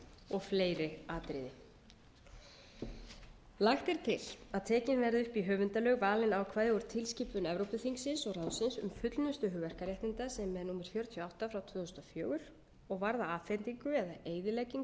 og fleiri atriði lagt er til að tekin verði upp í höfundalög valin ákvæði úr tilskipun evrópuþingsins og ráðsins um fullnustu hugverkaréttinda sem er númer fjörutíu og átta tvö þúsund og fjögur og varða afhendingu eða eyðileggingu